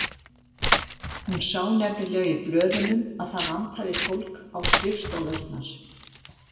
Hún sá nefnilega í blöðunum að það vantaði fólk á skrifstofurnar.